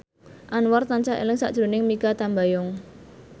Anwar tansah eling sakjroning Mikha Tambayong